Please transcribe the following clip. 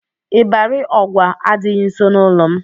Ịbarị Ọgwa adịghị nso n'ụlọ m.